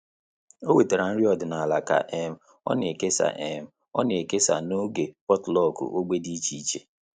Ọ́ wètàrà nrí ọ́dị́nála kà um ọ́ nà-èkèsá um ọ́ nà-èkèsá n’ógè potluck ógbè dị́ iche iche.